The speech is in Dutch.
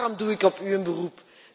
Daarom doe ik op u een beroep.